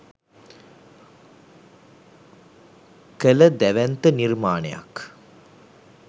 කළ දැවැන්ත නිර්මාණයක්.